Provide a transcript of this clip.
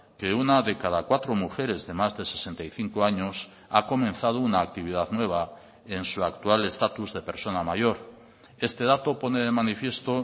que una de cada cuatro mujeres de más de sesenta y cinco años ha comenzado una actividad nueva en su actual estatus de persona mayor este dato pone de manifiesto